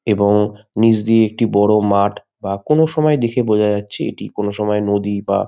এবং নিজ দিয়ে একটি বড় মাঠ বা কোন সময় দেখে বোঝা যাচ্ছে কোন সময় নদী বা।